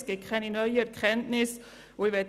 Es liegen keine neuen Erkenntnisse vor.